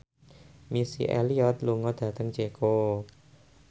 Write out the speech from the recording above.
Missy Elliott lunga dhateng Ceko